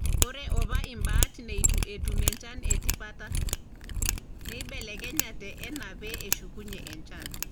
Ore apa imbat neitu etum enchan e tipata, neibelekenyate enaa pee eshukunyie enchan.